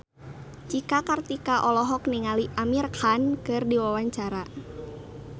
Cika Kartika olohok ningali Amir Khan keur diwawancara